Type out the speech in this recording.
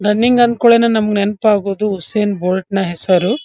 Running ಅಂಕುಡ್ಲೇನೆ ನಮ್ಗ್ ನೆನ್ಪಾಗೋದು ಉಸ್ಸೇನ್ ಬೊಲ್ಟ್ ನ ಹೆಸರು .